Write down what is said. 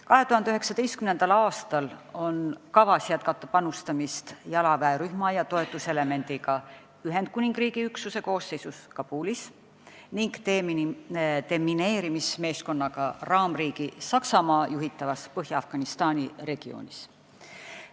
2019. aastal on kavas jätkata panustamist jalaväerühma ja toetuselemendiga Ühendkuningriigi üksuse koosseisus Kabulis ning demineerimismeeskonnaga raamriigi Saksamaa juhitavas Põhja-Afganistani regioonis.